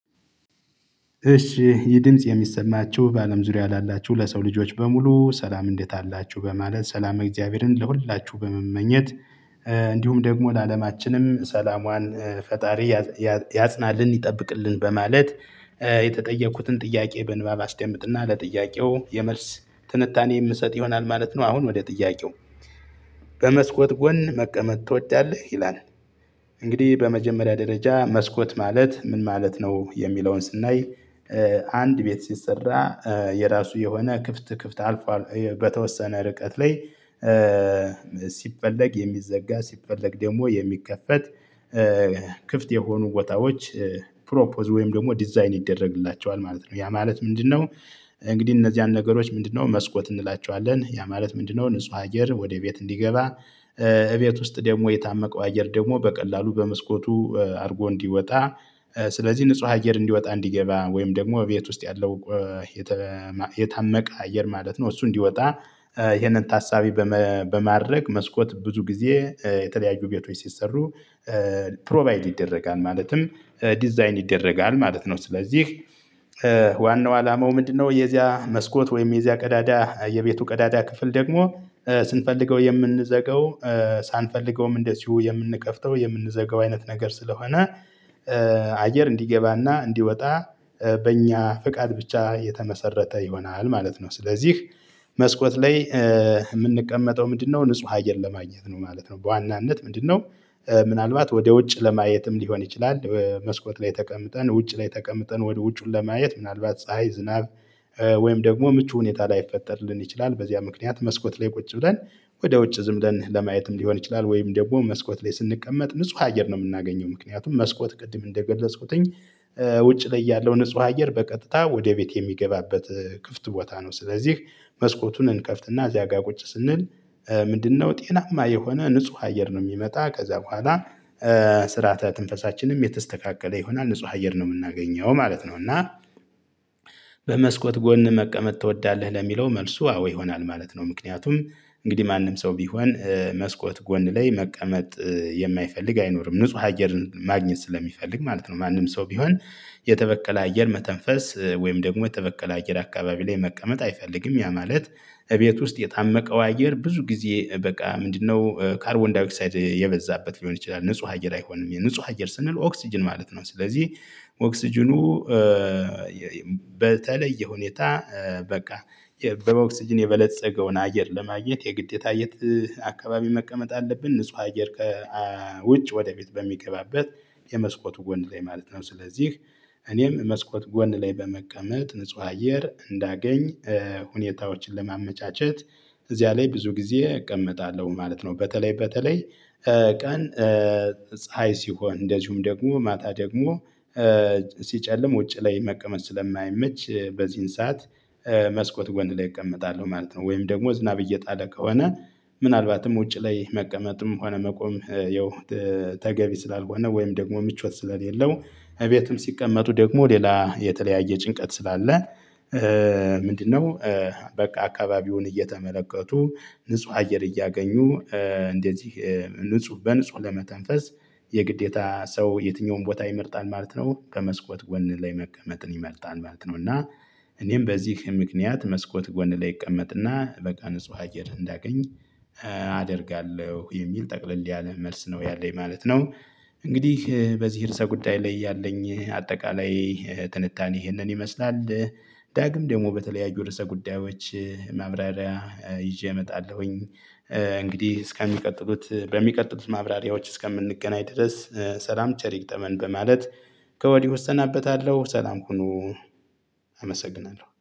እሺ ይህ ድምጽ የሚሰማችሁ በአለም ዙሪያ ላላችሁ ለሰው ልጆች በሙሉ ሰላም እንዴት አላችሁ በማለት ሰላም እግዚአብሔርን ለሁላችሁ በመመኘት። እንዲሁም ደግሞ ለአለማችንም ሰላሟን ፈጣሪ ያ ያ ያጽናልን ይጠብቅልን በማለት። የተጠየኩትን ጥያቄ በንባብ አስደምጥና ለጥያቄው የመልስ ትንታኔ የምሰጥ ይሆናል ማለት ነው። አሁን ወደ ጥያቄው? በመስኮት ጎን መቀመጥ ትወዳለህ ይላል። እንግዲህ በመጀመሪያ ደረጃ መስኮት ማለት ምን ማለት ነው? የሚለውን ስናይ። አንድ ቤት ሲሰራ የራሱ የሆነ ክፍት ክፍት አልፎ አልፎ በተወሰነ ርቀት ላይ። ሲፈለግ የሚዘጋ ሲፈለግ ደሞ የሚከፈት። ክፍት የሆኑ ቦታዎች ፕሮፖዝ ወይም ደሞ ዲዛይን ይደረግላቸዋል ማለት ነው። ያ ማለት ምንድነው? እንግዲህ እነዚያን ነገሮች ምንድነው መስኮት እንላቸዋለን። ያ ማለት ምንድነው? ንጹህ አየር ወደ ቤት እንዲገባ። እቤት ውስጥ ደሞ የታመቀው አየር ደግሞ በቀላሉ በመስኮቱ አድርጎ እንዲወጣ። ስለዚህ ንጹህ አየር እንዲወጣ እንዲገባ ወይም ደግሞ ቤት ውስጥ ያለው የታመቀ አየር ማለት ነው። እሱ እንዲወጣ። ይሄንን ታሳቢ በመ በማድረግ መስኮት ብዙ ጊዜ የተለያዩ ቤቶች ሲሰሩ ፕሮቫይድ ይደረጋል ማለትም ዲዛይን ይደረጋል ማለት ነው። ስለዚህ ዋናው አላማው ምንድነው? የዚያ መስኮት ወይም የዚያ ቀዳዳ የቤቱ ቀዳዳ ክፍል ደግሞ ስንፈልገው የምንዘገው። ሳንፈልገውም እንደዚሁ የምንከፍተው የምንዘጋው አይነት ነገር ስለሆነ አየር እንዲገባና እንዲወጣ። በእኛ ፍቃድ ብቻ የተመሰረተ ይሆናል ማለት ነው። ስለዚህ መስኮት ላይ ምንቀመጠው ምንድነው? ንጹህ አየር ለማግኘት ነው ማለት ነው በዋናነት ምንድነው? ምናልባት ወደ ውጭ ለማየትም ሊሆን ይችላል መስኮት ላይ ተቀምጠን ውጭ ላይ ተቀምጠን ወደ ውጩን ለማየት ምናልባት ፀሀይ ዝናብ። ወይም ደግሞ ምቹ ሁኔታ ላይፈጠር ልንችል ይችላል በዚያ ምክንያት መስኮት ላይ ቁጭ ብለን ወደ ውጭ ዝም ለን ለማየትም ሊሆን ይችላል። ወይም ደግሞ መስኮት ላይ ስንቀመጥ ንጹህ አየር ነው የምናገኘው ምክንያቱም መስኮት ቅድም እንደገለጽኩትኝ። ውጪ ላይ ያለው ንጹህ አየር በቀጥታ ወደ ቤት የሚገባበት ክፍት ቦታ ነው። ስለዚህ መስኮቱን እንከፍትና እዚያ ጋር ቁጭ ስንል ምንድነው ጤናማ የሆነ ንጹህ አየር ነው ሚመጣ ከዛ በኋላ። ስርዓተ ትንፈሳችንም የተስተካከለ ይሆናል ንጹህ አየር ነው ምናገኘው ማለት ነው። እና በመስኮት ጎን መቀመጥ ትወዳለህ? ለሚለው መልሱ አዎ ይሆናል ማለት ነው። ምክንያቱም እንግዲህ ማንም ሰው ቢሆን መስኮት ጎን ላይ መቀመጥ የማይፈልግ አይኖርም ንጹህ አየርን ማግኘት ስለሚፈልግ ማለት ነው። ማንም ሰው ቢሆን። የተበከለ አየር መተንፈስ ወይም ደግሞ የተበከለ አየር አካባቢ ላይ መቀመጥ አይፈልግም ያ ማለት። እቤት ውስጥ የታመቀው አየር ብዙ ጊዜ በቃ ምንድነው ካርቦን ዳየ ኦክሳይድ የበዛበት ሊሆን ይችላል ንጹህ አየር አይሆንም የንጹህ አየር ስንል ኦክስጅን ማለት ነው። ስለዚህ ኦክስጅኑ በተለይ የሁኔታ በቃ የ በኦክስጅን የበለፀገውን አየር ለማየት የግዴታ የት አካባቢ መቀመጥ አለብን። ንጹህ አየር ከ አ ውጭ ወደ ቤት በሚገባበት የመስኮቱ ጎን ላይ ማለት ነው። ስለዚህ እኔም መስኮት ጎን ላይ በመቀመጥ ንጹህ አየር እንዳገኝ ሁኔታዎችን ለማመቻቸት እዚያ ላይ ብዙ ጊዜ እቀመጣለሁ ማለት ነው። በተለይ በተለይ ቀን ፀሀይ ሲሆን እንደዚሁም ደግሞ ማታ ደግሞ ሲጨልም ውጪ ላይ መቀመጥ ስለማይመች በዚህን ሰዓት መስኮት ጎን ላይ እቀመጣለሁ ማለት ነው። ወይም ደግሞ ዝናብ እየጣለ ከሆነ ምናልባትም ውጪ ላይ መቀመጥም ሆነ መቆም ያው ተገቢ ስላልሆነ ወይም ደግሞ ምቾት ስለሌለው እቤቱም ሲቀመጡ ደግሞ ሌላ የተለያየ ጭንቀት ስላለ። ምንድነው? በቃ አካባቢውን እየተመለከቱ ንጹህ አየር እያገኙ እንደዚህ ንጹህ በንጹህ ለመተንፈስ የግዴታ ሰው የትኛውም ቦታ ይመርጣል ማለት ነው። ከመስኮት ጎን ላይ መቀመጥን ይመርጣል ማለት ነው። እና እኔም በዚህ ምክንያት መስኮት ጎን ላይ እቀመጥና በቃ ንጹህ አየር እንዳገኝ አደርጋለሁ የሚል ጠቅለል ያለ መልስ ነው ያለኝ ማለት ነው። እንግዲህ በዚህ እርስ ጉዳይ ላይ ያለኝ አጠቃላይ ትንታኔ ይህንን ይመስላል። ዳግም ደሞ በተለያዩ ርዕሰ ጉዳዮች ማብራሪያ ይዤ እመጣለሁኝ። እንግዲህ እስከሚቀጥሉት በሚቀጥሉት ማብራሪያዎች እስከምንገናኝ ድረስ ሰላም ቸር ይግጠመን። በማለት ከወዲህ እሰናበታለሁ ሰላም ሁኑ። አመሰግናለሁ